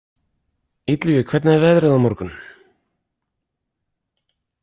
Illugi, hvernig er veðrið á morgun?